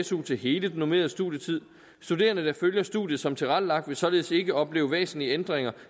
su til hele den normerede studietid studerende der følger studiet som tilrettelagt vil således ikke opleve væsentlige ændringer